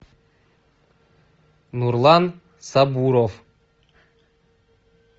нурлан сабуров